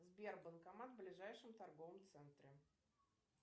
сбер банкомат в ближайшем торговом центре